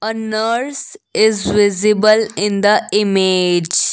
a nurse is visible in the image.